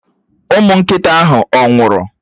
Ụmụ nkịta ahụ ọ̀ nwụrụ?